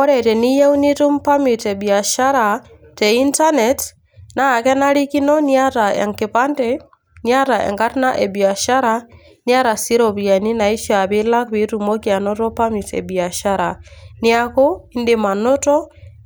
Ore teniyeu nitum permit e biashara te internet naa kenarikino niata enkipande, niata enkarna e biashara, niata sii iropiani naishaa pilak piitumoki ainoto permit e biashara. Neeku indim anoto